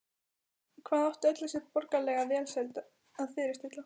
Hvað átti öll þessi borgaralega velsæld að fyrirstilla?